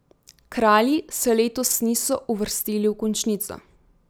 Kralji se letos niso uvrstili v končnico.